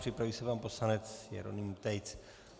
Připraví se pan poslanec Jeroným Tejc.